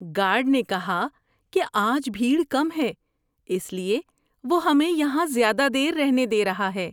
Guard نے کہا کہ آج بھیڑ کم ہے۔ اس لیے وہ ہمیں یہاں زیادہ دیر رہنے دے رہا ہے۔